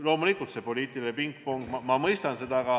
Loomulikult, see poliitiline pingpong – ma mõistan seda.